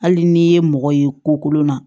Hali n'i ye mɔgɔ ye ko kolon na